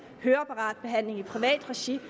høreapparatbehandling i privat regi